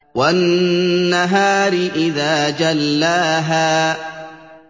وَالنَّهَارِ إِذَا جَلَّاهَا